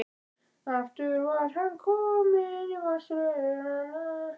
Aftur var hann kominn í varnarstöðu.